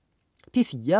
P4: